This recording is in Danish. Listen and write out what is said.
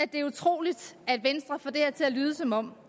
det er utrolig at venstre får det til at lyde som om